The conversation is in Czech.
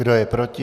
Kdo je proti?